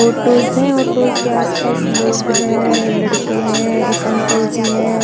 Autos है autos के आस पास लोग है लड़के है एक अंकल जी है।